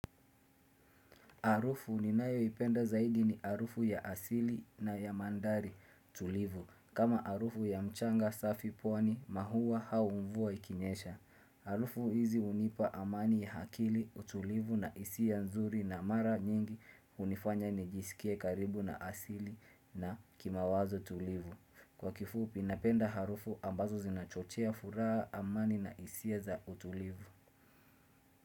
Harufu ninayoipenda zaidi ni harufu ya asili na ya mandhari tulivu. Kama harufu ya mchanga safi pwani maua au mvua ikinyesha harufu hizi hunipa amani ya akili utulivu na hisia nzuri na mara nyingi hunifanya nijisikie karibu na asili na kimawazo tulivu. Kwa kifupi napenda harufu ambazo zinachochea furaha amani na hisia za utulivu.